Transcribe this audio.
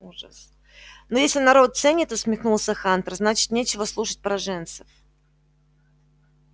ужас ну если народ ценит усмехнулся хантер значит нечего слушать пораженцев